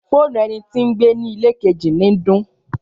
Fònú ènití gbé ni ìlẹ kẹji ni dun.